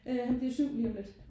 Øh han bliver 7 lige om lidt